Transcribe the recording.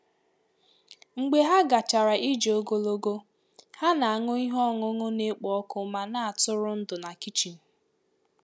Mgbe ha gachara ije ogologo ha na-aṅụ ihe ọṅụṅụ na-ekpo ọkụ ma na-atụrụ ndụ na kichin.